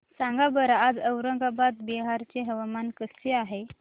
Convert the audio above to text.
सांगा बरं आज औरंगाबाद बिहार चे हवामान कसे आहे